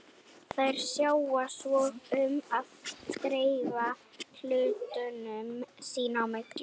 Þær sjá svo um að dreifa hlutunum sín á milli.